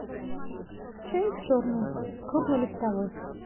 чай черный крупнолистовой